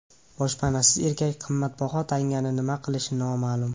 Boshpanasiz erkak qimmatbaho tangani nima qilishi noma’lum.